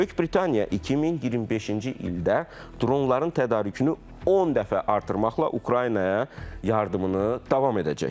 Böyük Britaniya 2025-ci ildə dronların tədarükünü 10 dəfə artırmaqla Ukraynaya yardımını davam edəcək.